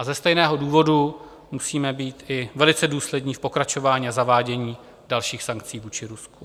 A ze stejného důvodu musíme být i velice důslední v pokračování a zavádění dalších sankcí vůči Rusku.